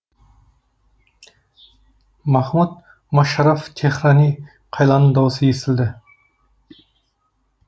махмуд мошарраф теһрани қайланың даусы естілді